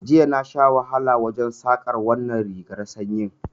Jiya na sha wahala wurin Saƙar wannan rigar sanyin